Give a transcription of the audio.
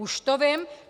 Už to vím!